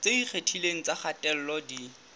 tse ikgethileng tsa kgatello di